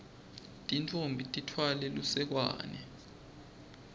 tintfombi titfwale lusekwane